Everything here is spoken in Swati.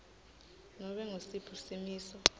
nobe ngusiphi simiso